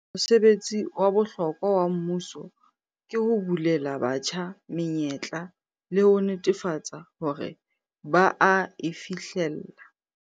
Mosebetsi wa bohlokwa wa mmuso ke ho bulela batjha menyetla le ho netefatsa hore ba a e fihlella.